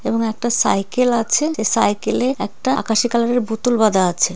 এবং একটা সাইকেল আছে যে সাইকেলে একটা আকাশী কালারের বোতল বাধা আছে।